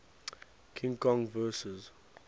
king kong vs